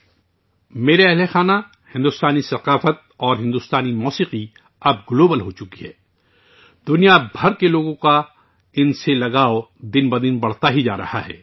میرے پیارے اہلِ خانہ، بھارتی ثقافت اور بھارتی موسیقی اب گلوبل بن گئی ہے. دنیا بھر کے لوگوں کا ان سے لگاؤ روز بروز بڑھتا جا رہا ہے